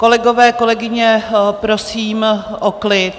Kolegové, kolegyně, prosím o klid.